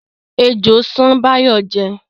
Ejò ṣán Báyọ̀ jẹ́